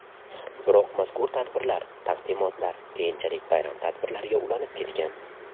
Biroq mazkur tadbirlar, taqdimotlar keyinchalik bayram tadbirlariga ulanib ketgan.